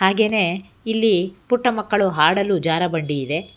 ಹಾಗೆನೆ ಇಲ್ಲಿ ಪುಟ್ಟ ಮಕ್ಕಳು ಹಾಡಲು ಜಾರ ಬಂಡಿ ಇದೆ.